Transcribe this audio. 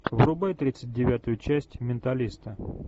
врубай тридцать девятую часть менталиста